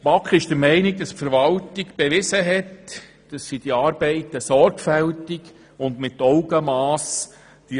Die BaK ist der Meinung, die Verwaltung habe bewiesen, dass sie die Arbeiten sorgfältig und mit Augenmass ausführt.